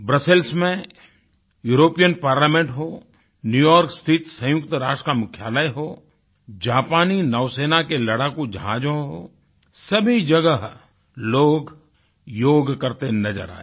Brussels में European parliament होNew York स्थित संयुक्तराष्ट्र का मुख्यालय हो जापानी नौसेना के लड़ाकू जहाज़ हों सभी जगह लोग योग करते नज़र आए